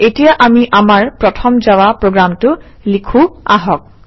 এতিয়া আমি আমাৰ প্ৰথম জাভা প্ৰগ্ৰামটো লিখোঁ আহক